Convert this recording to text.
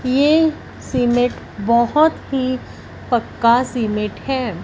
ये सीमेंट बहोत ही पक्का सीमेंट है।